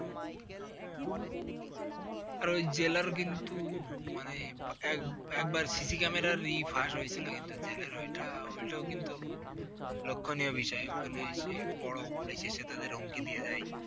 আর ওই জেলার কিন্তু মানে এক একবার CC Camera -র ফাঁস হয়েছিলো কিন্তু জেলের ওইটা, ওইটাও কিন্তু লক্ষ্য নীয় বিষষয়। ওখানে এসে বড় Police এসে তাদের হুমকি দিয়ে যায়।